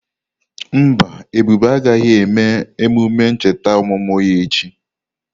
Mba, Ebube agaghị eme emume ncheta ọmụmụ ya echi.